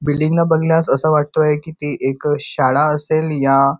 building ला बगल्यास असं वाटतंय ती एक शाळा असेल या--